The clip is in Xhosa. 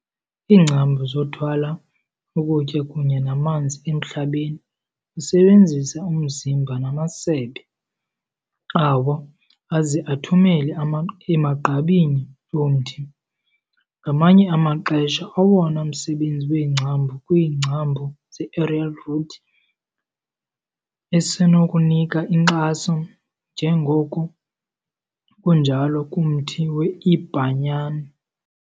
Iingcambu zothwala ukutya kunye namanzi emhlabeni usebenzisa umzimba namasebe awo, aze athumele emagqabini omthi. Ngamanye amaxesha, owona msebenzi weengcambu ukwiingcambu zeaerial root, esenokunika inkxaso, njengoku kunjalo kumthi weiBhanyan.